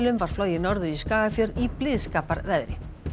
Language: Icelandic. var flogið norður í Skagafjörð í blíðskaparveðri